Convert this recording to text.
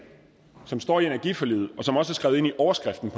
som står i energiforliget og som også er skrevet ind i overskriften